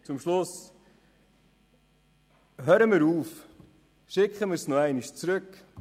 Zum Schluss: Hören wir auf, und schicken die Vorlage noch einmal zurück.